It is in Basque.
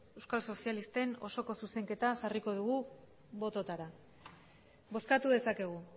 euskal sozialisten osoko zuzenketa jarriko dugu bototara bozkatu dezakegu